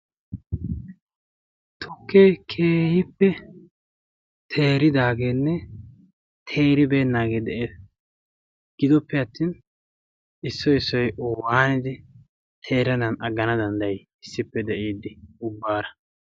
tokee kehippe teeridaageenne teeribeennaagee de'ees. gidoppe attin issoy issoy owaanidi teeranan aggana danddayi issippe de'iiddi ubbaara